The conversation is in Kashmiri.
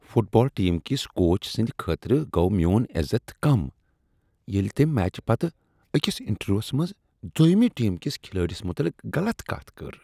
فٹ بال ٹیم کِس کوچ سٕندۍ خٲطرٕ گوو میون عزت کم ییٚلہ تٔمۍ میچہٕ پتہٕ أکس انٹرویوس منٛز دویمہ ٹیم کس کھلٲڑس متعلق غلط کتھ کٔر۔